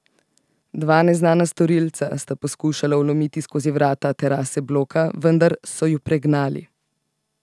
Dva neznana storilca sta poskušala vlomiti skozi vrata terase bloka, vendar so ju pregnali.